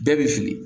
Bɛɛ bɛ fili